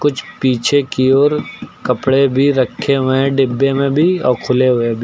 पीछे की ओर कपड़े भी रखे हुए डिब्बे में भी और खुले हुए भी।